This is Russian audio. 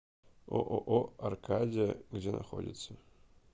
ооо аркадия где находится